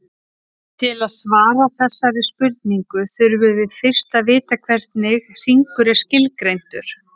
Til að svara þessari spurningu þurfum við fyrst að vita hvernig hringur er skilgreindur.